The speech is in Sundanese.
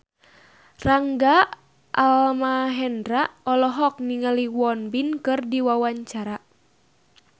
Rangga Almahendra olohok ningali Won Bin keur diwawancara